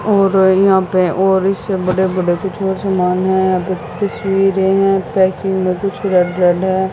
और यहां पे और इससे बड़े बड़े कुछ और समान है यहा प तस्वीर है पैकिंग म कुछ है।